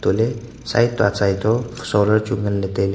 le side to achai to solar chu nganle tailey.